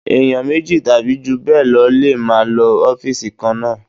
Èèyàn méjì tàbí jù bẹ́ẹ̀ lọ lè máa lo ọ́fìsì kan náà